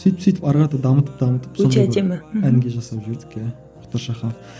сөйтіп сөйтіп ары қарата дамытып дамытып өте әдемі әнге жасап жібердік иә мұхтар шаханов